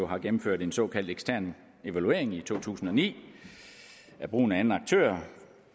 har gennemført en såkaldt ekstern evaluering i to tusind og ni af brugen af anden aktør